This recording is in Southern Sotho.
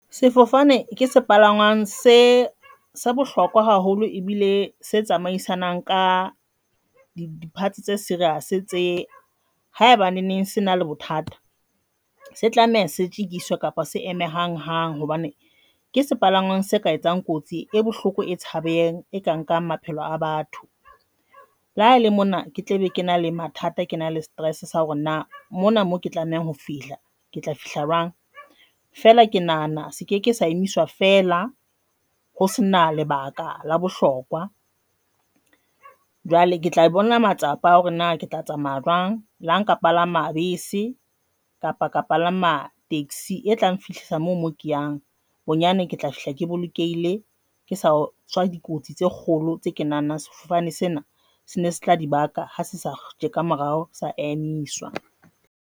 Sefofane ke se palangwang se se bohlokwa haholo ebile se tsamaisanang ka departs tse serious tse ha eba neng se na le bothata, se tlameha se jikiswe kapa se eme hang hang hobane ke se palangwang se ka etsang kotsi e bohloko e tshabehang e ka nkang maphelo a batho. Le ha ele mona ke tla be ke na le mathata. Ke na le stress sa hore na mona moo ke tlamehang ho fihla ke tla fihla jwang fela ke nahana se ke ke sa emiswa fela ho sena lebaka la bohlokwa. Jwale ke tla bona matsapa a hore na ke tla tsamaya jwang le ha nka palama bese kapa ka palama taxi e tlang, Fihla mo mo ke yang bonyane ke tla fihla ke bolokehile ke sa tswa dikotsi tse kgolo tse ke nahanang sefofane sena sene se tla dibaka, ha se sa tjeka morao sa emiswa.